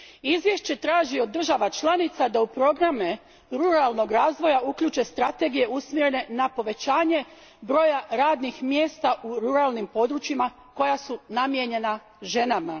Izvješće traži od država članica da u programe ruralnog razvoja uključe strategije usmjerene na povećanje broja radnih mjesta u ruralnim područjima koja su namijenjena ženama.